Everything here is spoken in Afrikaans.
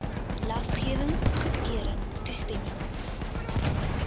lasgewing goedkeuring toestemming